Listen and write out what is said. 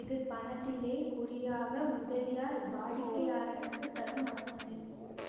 இது பணத்திலே குறியாக முதலியார் வாடிக்கைஆரனுக்குத் தரும் அர்ச்சனை